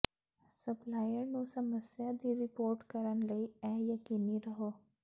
supplier ਨੂੰ ਸਮੱਸਿਆ ਦੀ ਰਿਪੋਰਟ ਕਰਨ ਲਈ ਇਹ ਯਕੀਨੀ ਰਹੋ